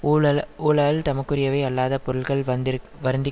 ஊழல் ஊழால் தமக்கு உரியவை அல்லாதப் பொருள்கள் வந்தி வருந்தி